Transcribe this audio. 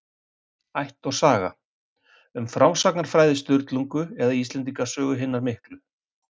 Ætt og saga: Um frásagnarfræði Sturlungu eða Íslendinga sögu hinnar miklu.